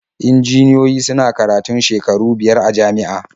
Injiniyoyi suna karatun shekaru biyar a jami'a.